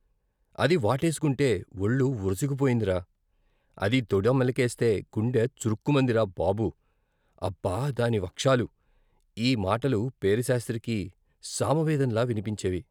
అది వాటేసుకుంటే వొళ్ళు వొరుసుకుపోయిందిరా! అది తోడ మెలికేస్తే గుండె చురుక్కుమందిరా బాబూ అబ్బ ! దాని వక్షాలు ఈ మాటలు పేరిశాస్త్రికి సామవేదంలా వినిపించేవి.